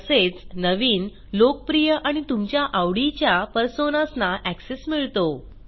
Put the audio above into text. तसेच नवीन लोकप्रिय आणि तुमच्या आवडीच्या Personasना एक्सेस मिळतो